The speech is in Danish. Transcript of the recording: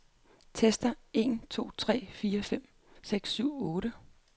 Tester en to tre fire fem seks syv otte.